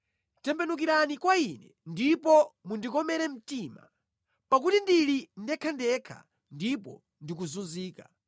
Tembenukirani kwa ine ndipo mundikomere mtima, pakuti ndili ndekhandekha ndipo ndikuzunzika.